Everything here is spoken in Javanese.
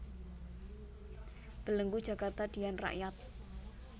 Belenggu Jakarta Dian Rakyat